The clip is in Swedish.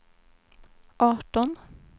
arton